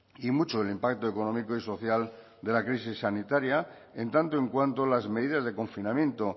y mucho el impacto económico y social de la crisis sanitaria en tanto en cuanto las medidas de confinamiento